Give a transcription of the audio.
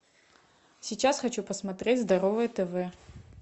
сейчас хочу посмотреть здоровое тв